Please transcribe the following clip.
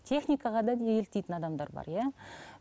техниаға да еліктейтін адамдар бар иә